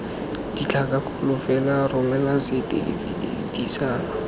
ditlhakakgolo fela romela setefikeiti sa